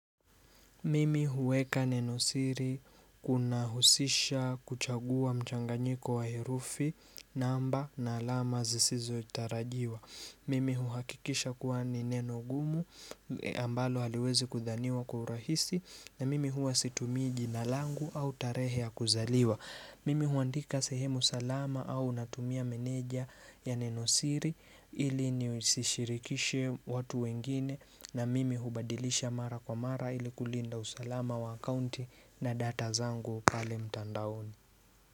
Mimi huweka nenosiri kuna husisha kuchagua mchanganyiko wa herufi namba na alama zisizotarajiwa. Mimi huhakikisha kuwa ni neno gumu ambalo haliwezi kudhaniwa kwa urahisi na mimi huwa situmii njia langu au tarehe ya kuzaliwa. Mimi huandika sehemu salama au natumia meneja ya nenosiri ili nisishirikishe watu wengine na mimi hubadilisha mara kwa mara ili kulinda usalama wa akaunti na data zangu pale mtandaoni.